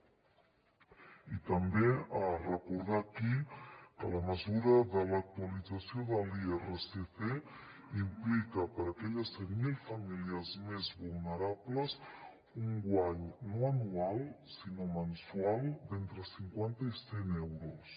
i també recordar aquí que la mesura de l’actualització de l’irsc implica per a aquelles cent mil famílies més vulnerables un guany no anual sinó mensual d’entre cinquanta i cent euros